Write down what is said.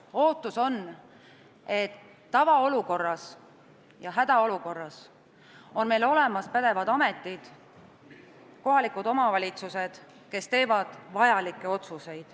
Ootus on, et tavaolukorras ja hädaolukorras on meil olemas pädevad ametid ja kohalikud omavalitsused, kes teevad vajalikke otsuseid.